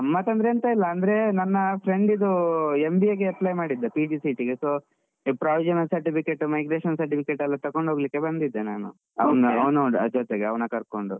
ಗಮ್ಮತ್ ಅಂದ್ರೆ ಎಂತ ಇಲ್ಲ, ಅಂದ್ರೆ ನನ್ನ friend ಇದ್ದು MBA ಗೆ apply ಮಾಡಿದ್ದ PGCET ಗೆ so provisional certificate, migration certificate ಎಲ್ಲ ತೊಕೊಂಡು ಹೋಗ್ಲಿಕ್ಕೆ ಬಂದಿದ್ದೆ ನಾನು, ಅವ್ನ ಅವ್ನ ಜೊತೆಗೆ ಅವ್ನ ಕರ್ಕೊಂಡು.